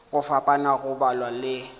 go fapana go balwa le